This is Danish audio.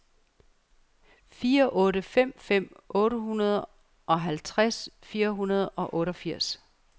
fire otte fem fem otteoghalvtreds fire hundrede og otteogfirs